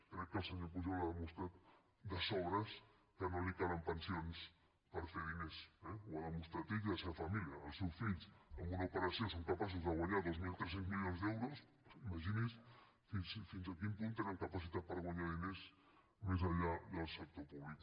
crec que el senyor pujol ha demostrat de sobres que no li calen pensions per fer diners eh ho han demostrat ell i la seva família els seus fills en una operació són capaços de guanyar dos mil tres cents milions d’euros imagini’s fins a quin punt tenen capacitat per guanyar diners més enllà del sector públic